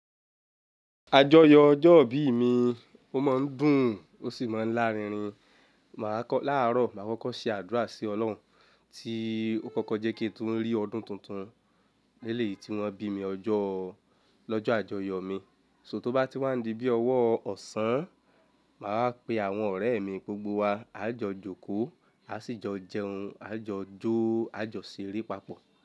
Àjọyọ̀ ọjọ́ ìbí mi ó máa ń dùn ó sì máa ń lá rinrin. Màá kọ láàárọ̀, màá kọ́kọ́ ṣe àdúrà sí ọlọ́run tí ó kọ́kọ́ jẹ́ kí n tun rí ọdún tuntun lélẹ̀ yìí tí wọ́n bí mi lọ́jọ́ àjọyọ̀ mi. So tó bá ti wá ń di bí ọwọ́ ọ̀sán, màá pe àwọn ọ̀rẹ́ mi gbogbo wa, a jọ jókòó, a sì jọ jẹun, a jọ jó, a jọ ṣeré papọ̀